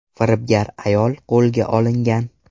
Firibgar ayol qo‘lga olingan.